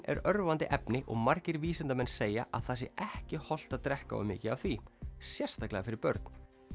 er örvandi efni og margir vísindamenn segja að það sé ekki hollt að drekka of mikið af því sérstaklega fyrir börn